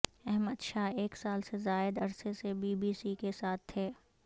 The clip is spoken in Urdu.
احمد شاہ ایک سال سے زائد عرصے سے بی بی سی کے ساتھ تھے